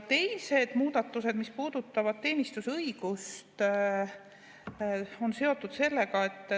Teised muudatused puudutavad teenistusõigust.